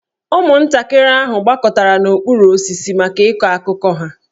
Ụmụntakịrị ahụ gbakọtara n'okpuru osisi maka ịkọ akụkọ ha.